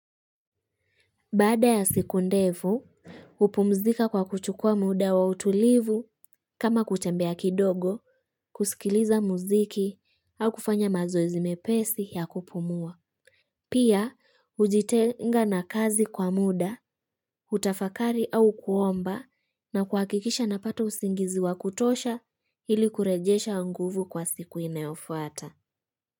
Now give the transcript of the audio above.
Baada ya siku ndefu, hupumzika kwa kuchukua muda wa utulivu kama kutembea kidogo kusikiliza muziki au kufanya mazoezi mepesi ya kupumua. Pia, ujitenga na kazi kwa muda, utafakari au kuomba na kuakikisha napata usingizi wa kutosha ili kurejesha nguvu kwa siku inayofuata.